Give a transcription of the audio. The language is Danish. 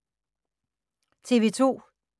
TV 2